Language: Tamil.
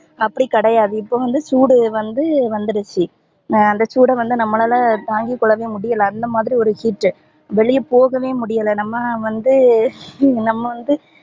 அப்டி கிடையாது இப்போ வந்து சூடு வந்து வந்துருச்சி அந்த சூட வந்து நம்பலால தாங்கி கொள்ளவே முடியல அந்த மாதிரி ஒரு heat ட்டு வெளிய போகவே முடியல நம்ப வந்து நம்ப வந்து